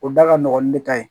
O da ka nɔgɔn ni ne ka ɲi